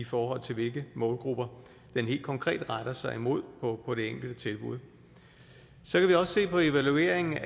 forhold til hvilke målgrupper den helt konkret retter sig mod på det enkelte tilbud så kan vi også se på evalueringen